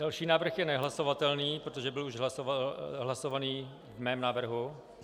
Další návrh je nehlasovatelný, protože byl už hlasovaný v mém návrhu.